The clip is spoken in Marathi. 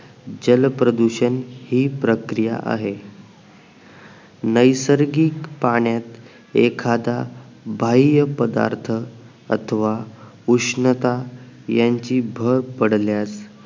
जलप्रदूषण हि प्रक्रिया आहे नैसर्गिक पाण्यात एखादा बाहिय्या पदार्थ अथवा उष्णता यांची भर पडल्यास